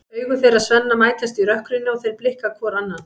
Augu þeirra Svenna mætast í rökkrinu og þeir blikka hvor annan.